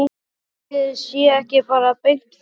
Ætli sé ekki bara beint flug, segi ég.